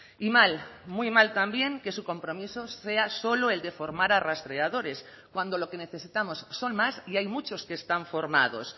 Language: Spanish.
y mal muy mal también que su compromiso sea solo el de formar a rastreadores cuando lo que necesitamos son más y hay muchos que están formados